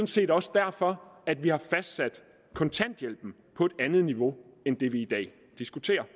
set også derfor at vi har fastsat kontanthjælpen på et andet niveau end det vi i dag diskuterer